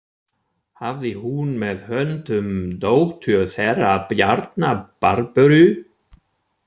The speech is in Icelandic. Hafði hún með höndum dóttur þeirra Bjarnar, Barböru.